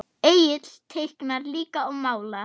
Egill teiknar líka og málar.